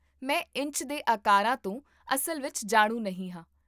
ਮੈਂ ਇੰਚ ਦੇ ਆਕਰਾਂ ਤੋਂ ਅਸਲ ਵਿੱਚ ਜਾਣੂ ਨਹੀਂ ਹਾਂ